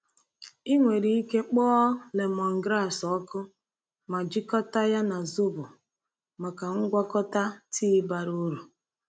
Ị nwere ike kpọọ lemongrass ọkụ ma jikọta ya na zobo maka ngwakọta tii bara uru.